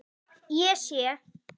Ég sé.